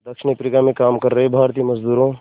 दक्षिण अफ्रीका में काम कर रहे भारतीय मज़दूरों